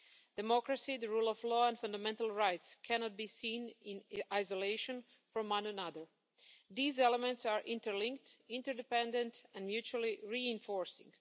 Democracy, the rule of law and fundamental rights cannot be seen in isolation from one another. These elements are interlinked, interdependent and mutually reinforcing.